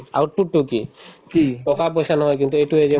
output তো কি টকা-পইচা নহয় কিন্তু এইটোয়ে যে